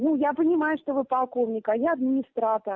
ну я понимаю что вы полковника а я администратор